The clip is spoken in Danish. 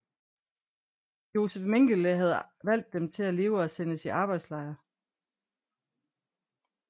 Josef Mengele havde valgt dem til at leve og sendes i arbejdslejr